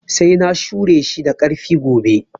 Sai na shure shi da ƙarfi gobe